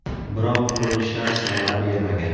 Biroq urinishlar samara bermagan.